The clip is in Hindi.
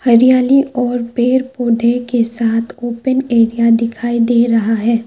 हरियाली और पेड़ पौधे के साथ ओपेन एरिया दिखाई दे रहा है।